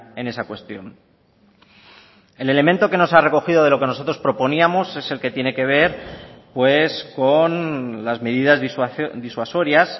en esa cuestión el elemento que nos ha recogido de lo que nosotros proponíamos es el que tiene que ver con las medidas disuasorias